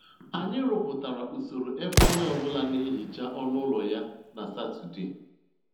Anyị rụpụtara usoro ebe onye ọ bụla na-ehicha ọnụ ụlọ ya na Satọde